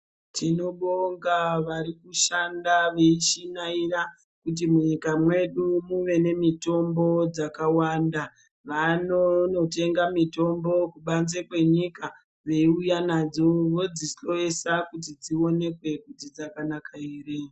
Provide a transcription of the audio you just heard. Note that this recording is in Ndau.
Tinobonga varikushanda veishinaira kuti munyika medu muve nemitombo dzakawanda. Vanonotenga mitombo kubanze kwenyika veiuya nadzo vodzihloesa kuti dzionekwe kuti dzakanaka ere.